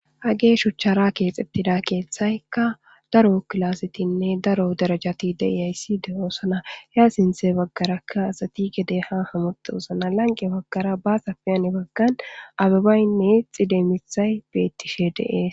hage shuchchara keexetida keeththaykka daro kilasetinne daro darajati de7iyayssi de7oosana he a sinthe baggarakka asati gede ha hamotosona lanqe baggara baasafi heni baggan ababaynne xide mithay beettishe de7ees.